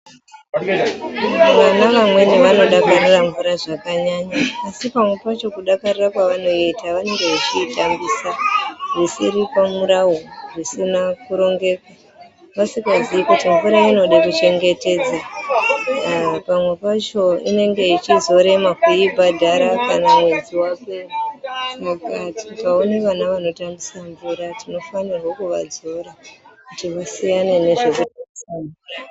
Vana vamweni vanodakarira mvura zvakanyanya asi pamwe pacho kudakarira kwavanoiita vanenge vechiitambisa zvisiri pamurawo, zvisina kurongeka vasikazii kuti mvura inode kuchengetedza. Pamwe pacho inenge ichizorema kuibhadhara kana mwedzi wapera. Saka tikaone vana vanotambise mvura tinofanira kuvadzora kuti vasiyane nekutambise.... .